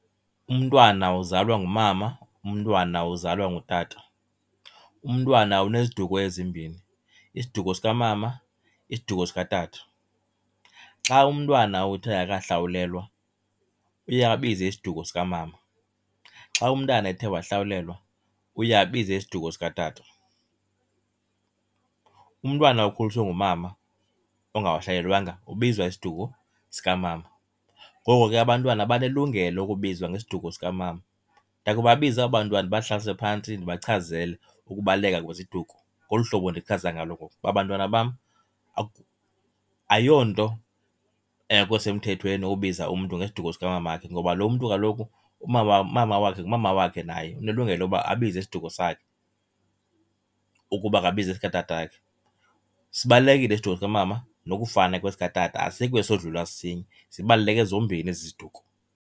Umntwana uzalwa ngumama, umntwana uzalwa ngutata. Umntwana uneziduko ezimbini, isiduko sikamama isiduko sikatata. Xa umntwana uthe akahlawulelwa uye abize isiduko sikamama. Xa umntana ethe wahlawulelwa uye abize isiduko sikatata. Umntwana okhuliswe ngumama ongahlawulelwanga ubizwa isiduko sikamama, ngoko ke abantwana banelungelo lokubizwa ngesiduko sikamama. Ndiya kubabiza aba bantwana ndibahlalise phantsi ndibachazele ukubaluleka kweziduko, ngolu hlobo ndichaza ngalo ngoku uba, bantwana bam ayonto engekho semthethweni ubiza umntu ngesiduko sikamama wakhe ngoba lo mntu kaloku umama umama wakhe ngumama wakhe naye, unelungelo loba abize isiduko sakhe ukuba akabize esikatatakhe. Sibalulekile isiduko sikamama nokufana kwesi katata asikho esodlula esinye, zibaluleke zombini ezi ziduko.